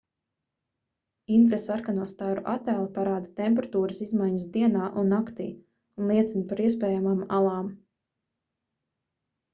infrasarkano staru attēli parāda temperatūras izmaiņas dienā un naktī un liecina par iespējamām alām